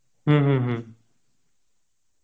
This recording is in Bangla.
হম হম হম